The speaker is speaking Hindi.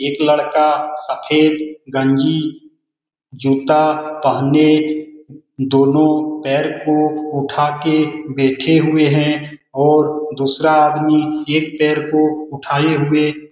एक लड़का सफेद गंजी जूता पहने दोनों पैर को उठा के बैठे हुए है और दूसरा आदमी एक पैर को उठाए हुए --